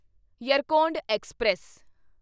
Yercaud express